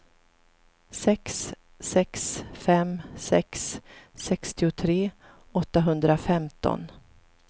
sex sex fem sex sextiotre åttahundrafemton